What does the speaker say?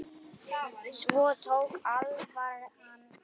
Svo tók alvaran við.